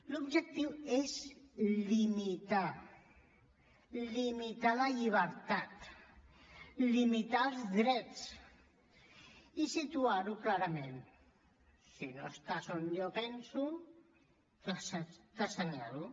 l’objectiu és limitar limitar la llibertat limitar els drets i situar ho clarament si no estàs on jo penso t’assenyalo